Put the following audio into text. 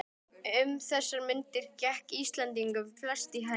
Um þessar mundir gekk Íslendingunum flest í haginn.